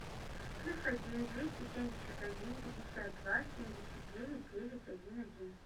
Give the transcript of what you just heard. плюс один двести семьдесят один пятьдесят два семьдесят девять девять один один